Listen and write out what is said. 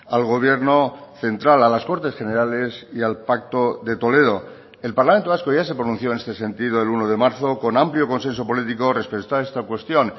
al gobierno central a las cortes generales y al pacto de toledo el parlamento vasco ya se pronunció en este sentido el uno de marzo con amplio consenso político respecto a esta cuestión